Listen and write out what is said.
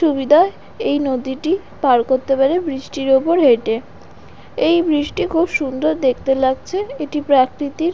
সুবিধায় এই নদীটি পার করতে পারে ব্রিজ টির ওপর হেঁটে এই ব্রিজ টি খুব সুন্দর দেখতে লাগছে এটি প্রকৃতির--